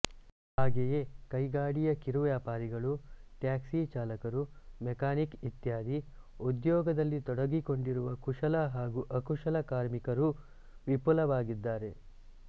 ಹಾಗೆಯೇ ಕೈಗಾಡಿಯ ಕಿರುವ್ಯಾಪಾರಿಗಳು ಟ್ಯಾಕ್ಸಿ ಚಾಲಕರು ಮೆಕ್ಯಾನಿಕ್ ಇತ್ಯಾದಿ ಉದ್ಯೋಗದಲ್ಲಿ ತೊಡಗಿಕೊಂಡಿರುವ ಕುಶಲ ಹಾಗೂ ಅಕುಶಲ ಕಾರ್ಮಿಕರೂ ವಿಪುಲವಾಗಿದ್ದಾರೆ